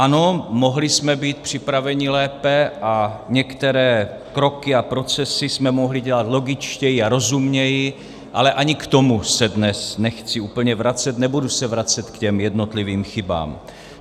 Ano, mohli jsme být připraveni lépe a některé kroky a procesy jsme mohli dělat logičtěji a rozumněji, ale ani k tomu se dnes nechci úplně vracet, nebudu se vracet k těm jednotlivým chybám.